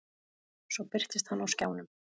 Svo birtist hann á skjánum.